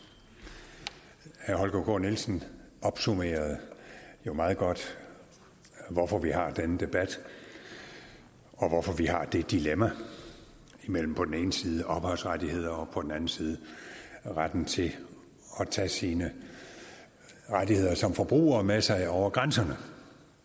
herre holger k nielsen opsummerede jo meget godt hvorfor vi har denne debat og hvorfor vi har det dilemma mellem på den ene side ophavsrettigheder og på den anden side retten til at tage sine rettigheder som forbruger med sig over grænserne